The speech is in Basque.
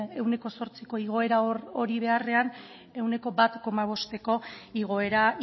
ehuneko zortziko igoera hori beharrean ehuneko bat koma bosteko igoera